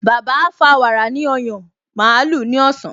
Bàbá á fa wàrà ní ọyàn màlúù ní ọ̀sán